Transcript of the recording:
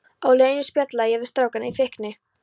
Á leiðinni spjallaði ég við strákana í fíkni